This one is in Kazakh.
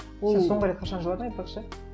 сен соңғы рет қашан жыладын айтпақшы